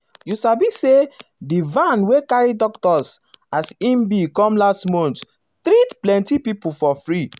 you sabi saydi van wey carry doctors um as e be come last month um treat plenty people for free.